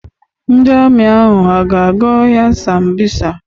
Ndị Amị ahụ a ga-aga ọhịa Sambisa?